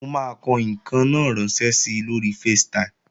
Mo máa kọ ǹkan náà ránṣẹ́ si lóri Facetime